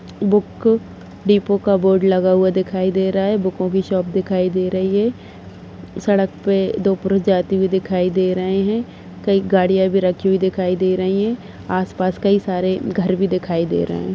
Book depot का board लगा हुआ दिखाई दे रहा है। बुको की शॉप दिखाई दे रही है। सड़क पे दो पुरुष जाते हुई दिखाई दे रहे हैं। कई गाड़िया भी रखी हुई दिखाई दे रही हैं। आसपास कई सारे घर भी दिखाई दे रहे हैं।